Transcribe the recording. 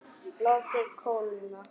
Látið kólna.